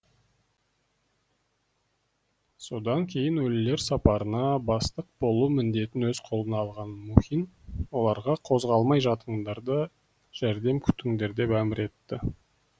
содан кейін өлілер сапарына бастық болу міндетін өз қолына алған мухин оларға қозғалмай жатыңдар да жәрдем күтіңдер деп әмір етеді